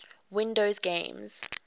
windows games